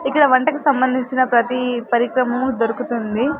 ఇక్కడ వంటకు సంబంధించిన ప్రతీ పరికరము దొరుకుతుంది.